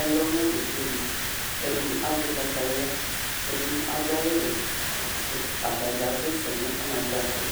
ɛlɔ na du ka ɛdi ɛdi azɛ kataya kɛ ɛdi adu awu wɛ atadza asɛsɛ nu anatsɛ akpa